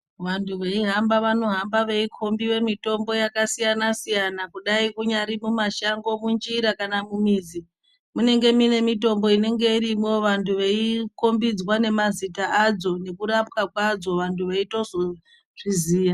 Vantu veyihamba vanohamba veyikhombiwa mitombo yakasiyana siyana, kudayi kunyari kumashango, munjira kana kumizi, munenge mune mitombo inenge irimwo, vanhu veyikhombidzwa nemazita adzo, nekurapwa kwadzo, vantu veyitozozviziya.